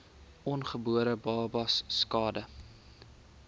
ongebore babas skade